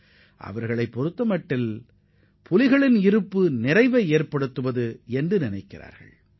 புலிகள் தங்களுடன் இருப்பது தங்களது வளமையை பிரதிபலிப்பதாக அவர்கள் கருதுகின்றனர்